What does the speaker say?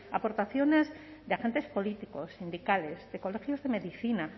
aportaciones de agentes políticos sindicales de colegios de medicina